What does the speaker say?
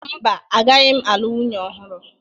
Mba, agaghị m nwunye ọhụrụ.